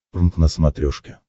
прнк на смотрешке